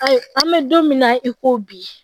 Ayi an bɛ don min na i ko bi